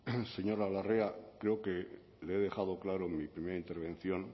señora larrea creo que le he dejado claro en mi primera intervención